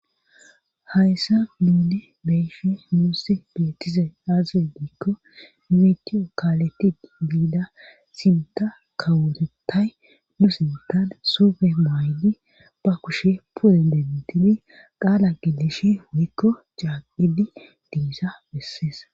hayssa nu beyishin nuussi beetizay aaze gikko witiyo kaaletti biida sinta kaworetay nu sintan sufe maaydi ba kushe puri dentidi qaala gilishi wuykko caaqidi diisa bessees